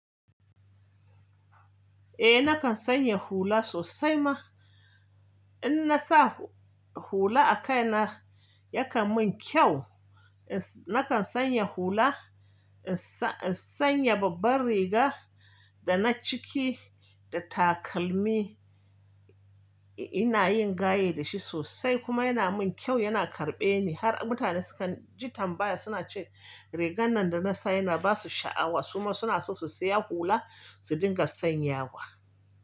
Eh nakan sanya hula sosai ma. In na sa hula a kai na yakan mun kyau. Nakan sanya hula, in sanya babban riga da na ciki da takalmi. Ina yin gaye da shi sosai kuma yana mun kyau, yana karɓe ni. Har mutane sukan ji tambaya suna ce rigan nan da na sa yana basu sha'awa. Kuma suna so su siya hula su dinga sanyawa.